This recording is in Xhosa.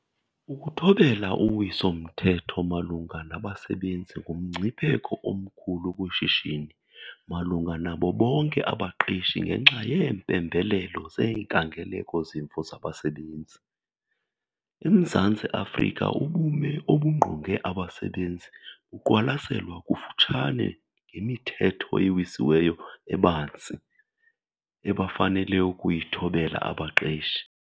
Ukuthobela uwiso-mthetho malunga nabasebenzi ngumngcipheko omkhulu kwishishini malunga nabo bonke abaqeshi ngenxa yeempembelelo zeenkangeleko-zimvo zabasebenzi. EMzantsi Afrika ubume obungqonge abasebenzi buqwalaselelwa kufutshane ngemithetho ewisiweyo ebanzi abafanele ukuyithobela abaqeshi.